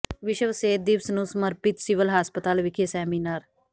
ਵਿਸ਼ਵ ਸਿਹਤ ਦਿਵਸ ਨੂੰ ਸਮਰਪਿਤ ਸਿਵਲ ਹਸਪਤਾਲ ਵਿਖੇ ਸੈਮੀਨਾਰ